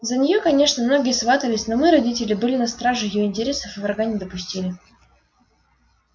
за неё конечно многие сватались но мы родители были на страже её интересов и врага не допустили